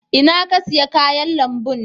Inna ka siya kayan lambun?